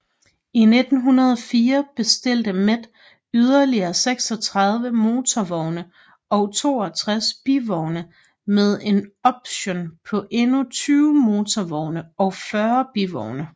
I 1904 bestilte Met yderligere 36 motorvogne og 62 bivogne med en option på endnu 20 motorvogne og 40 bivogne